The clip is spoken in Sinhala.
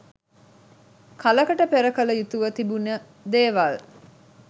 කලකට පෙර කළ යුතුව තිබුණ දේවල්.